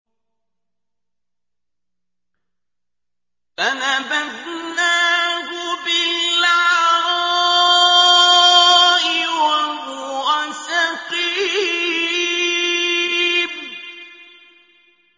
۞ فَنَبَذْنَاهُ بِالْعَرَاءِ وَهُوَ سَقِيمٌ